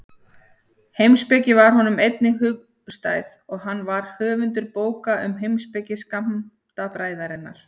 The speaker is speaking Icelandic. Heimspeki var honum einnig hugstæð og hann var höfundur bókar um heimspeki skammtafræðinnar.